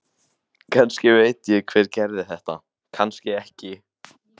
Kannski veit ég hver gerði þetta, kannski ekki.